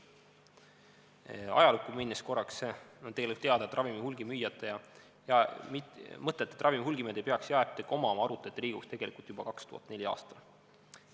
Korraks ajalukku minnes: et teile oleks teada, mõtet, et ravimi hulgimüüjad ei peaks apteeke omama, arutati Riigikogus tegelikult juba 2004. aastal.